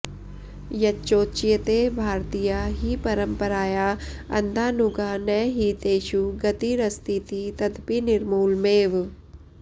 यच्चोच्यते भारतीया हि परम्पराया अन्धानुगा न हि तेषु गतिरस्तीति तदपि निर्मूलमेव